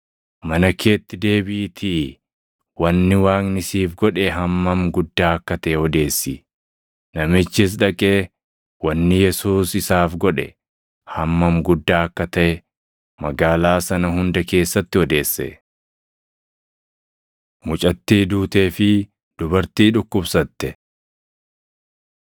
“Mana keetti deebiʼiitii wanni Waaqni siif godhe hammam guddaa akka taʼe odeessi.” Namichis dhaqee wanni Yesuus isaaf godhe hammam guddaa akka taʼe magaalaa sana hunda keessatti odeesse. Mucattii Duutee fi Dubartii Dhukkubsatte 8:40‑56 kwf – Mat 9:18‑26; Mar 5:22‑43